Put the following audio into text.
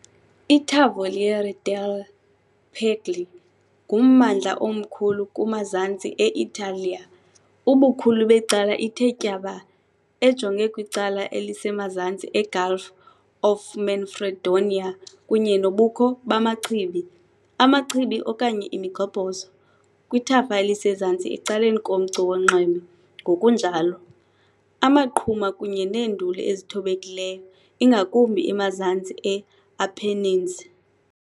ITavoliere delle Puglie ngummandla omkhulu kumazantsi e-Italiya, ubukhulu becala ithe tyaba, ejonge kwicala elisemazantsi eGulf of Manfredonia kunye nobukho bamachibi, amachibi okanye imigxobhozo kwithafa elisezantsi, ecaleni komcu wonxweme, ngokunjalo. Amaqhuma kunye neenduli ezithobekileyo ingakumbi emazantsi e-Apennines.